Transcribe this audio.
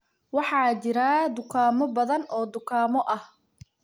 Waxaa jira dukaamo badan oo dukaamo ah.